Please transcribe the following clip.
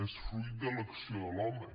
és fruit de l’acció de l’home